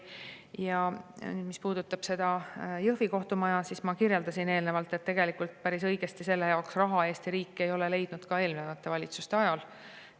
Ja mis puudutab Jõhvi kohtumaja, siis ma kirjeldasin eelnevalt, et tegelikult Eesti riik ei leidnud selle jaoks piisavalt raha ka eelmiste valitsuste ajal.